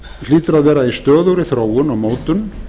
hlýtur að vera í stöðugri þróun og mótun